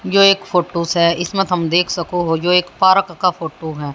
यो एक फ़ोटोज से इसमें थम देख सको हो यो एक पार्क का फोटू है।